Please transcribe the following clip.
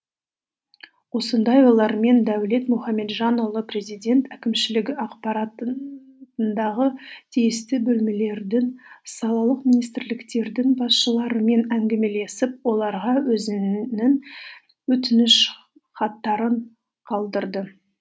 осындай ойлармен дәулет мұхамеджанұлы президент әкімшілігі тиісті салалық министрліктердің басшыларымен әңгімелесіп оларға өзінің өтініш хаттарын қалдырды